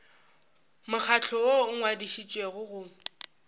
mokgatlo woo o ngwadišitšwego go